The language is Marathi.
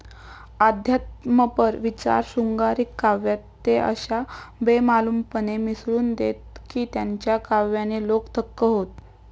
अध्यात्मपर विचार शृंगारिक काव्यात ते अशा बेमालूमपणे मिसळून देत की त्यांच्या काव्याने लोक थक्क होत.